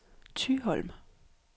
Thyholm